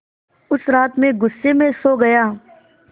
उस रात मैं ग़ुस्से में सो गया